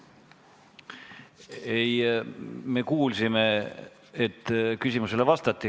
Ei, me kuulsime, et küsimusele vastati.